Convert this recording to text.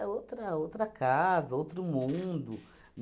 outra outra casa, outro mundo.